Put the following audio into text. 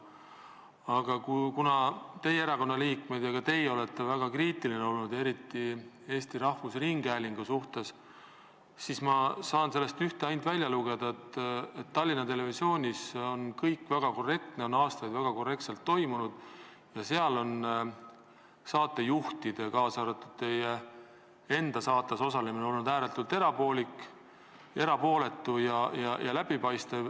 Aga kuna teie erakonna liikmed on olnud ja ka teie olete olnud väga kriitiline eriti Eesti Rahvusringhäälingu suhtes, siis ma saan sellest välja lugeda ainult ühte: Tallinna Televisioonis on kõik väga korrektne, kõik on aastaid väga korrektselt toimunud ja seal on saatejuhtide, kaasa arvatud teie enda saates osalemine olnud ääretult erapooletu ja läbipaistev.